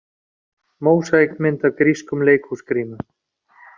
Mósaíkmynd af grískum leikhúsgrímum.